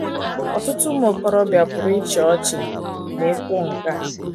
Ọtụtụ ụmụ okorobịa pụrụ ịchị ọchị ma e kwuo nke a.